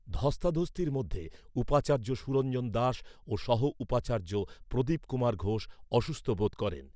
ধস্তাধস্তির মধ্যে উপাচার্য সুরঞ্জন দাস ও সহ উপাচার্য প্রদীপ কুমার ঘোষ অসুস্থ বোধ করেন।